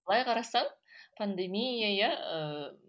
былай қарасаң пандемия иә ыыы